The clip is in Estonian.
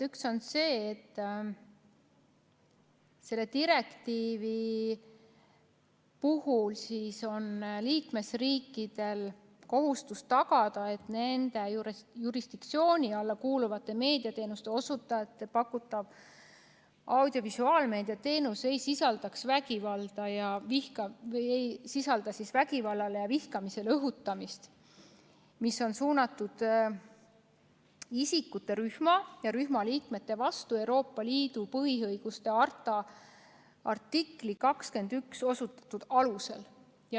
Üks on see, et selle direktiivi puhul on liikmesriikidel kohustus tagada, et nende jurisdiktsiooni alla kuuluvate meediateenuste osutajate pakutav audiovisuaalmeediateenus ei sisaldaks vägivallale ja vihkamisele õhutamist, mis oleks suunatud isikute rühma ja selle rühma liikmete vastu Euroopa Liidu põhiõiguste harta artiklis 21 osutatud alustel.